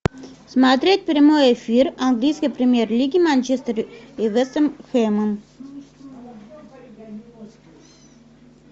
смотреть прямой эфир английской премьер лиги манчестер и вест хэмом